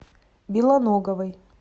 белоноговой